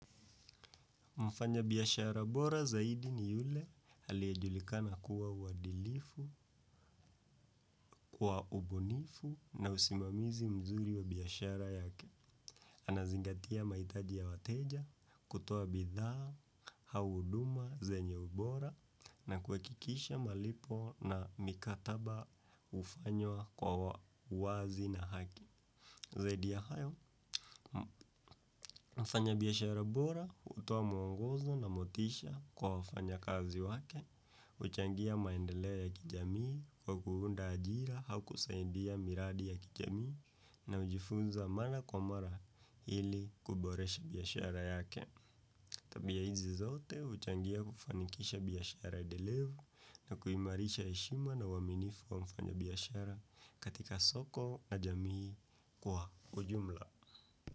Mfanyabiashara bora zaidi ni yule aliyejulikana kuwa uwadilifu kwa ubunifu na usimamizi mzuri wa biashara yake. Anazingatia mahitaji ya wateja, kutoa bidhaa, au huduma zenye ubora na kuhakikisha malipo na mikataba hufanywa kwa wazi na haki. Zaidi ya hayo, mfanyabiashara bora hutoa mwongozo na motisha kwa wafanyakazi wake huchangia maendeleo ya kijamii kwa kuunda ajira au kusidia miradi ya kijamii na hujifunza mara kwa mara ili kuboresha biashara yake. Tabia hizi zote huchangia kufanikisha biashara delevu na kuimarisha heshima na uaminifu wa mfanyabiashara katika soko na jamii kwa ujumla.